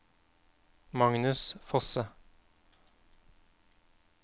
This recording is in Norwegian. Magnus Fosse